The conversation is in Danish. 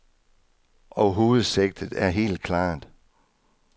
Og hovedsigtet er helt klart.